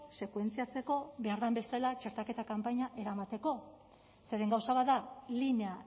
sekuentziatzeko behar den bezala txertaketa kanpaina eramateko zeren gauza bat da linea